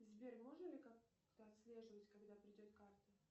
сбер можно ли как то отслеживать когда придет карта